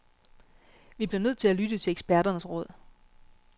Vi bliver nødt til at lytte til eksperternes råd.